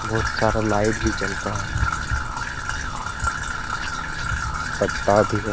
बहुत सारा लाइट भी जल रहा है पत्ता भी है।